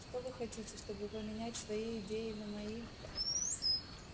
что вы хотите чтобы поменять свои идеи на мои